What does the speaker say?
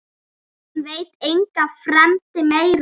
Hann veit enga fremd meiri.